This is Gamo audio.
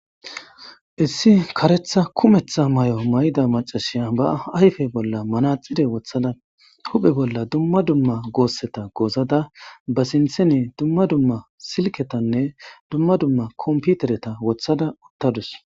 Issi kareththa kuumeththa maayo mayida maccashiya ba ayffe bolla manaxire woththada huphphe bolla dumma dumma gosseta goozada ba sinththen dumma dumma silketanne dumma dumma komppiteretta woththada uttadus.